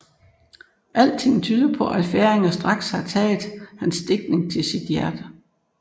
Alting tyder på at færinger straks har taget hans digtning til sit hjerte